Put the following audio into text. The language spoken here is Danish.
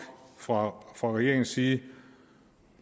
fra regeringens side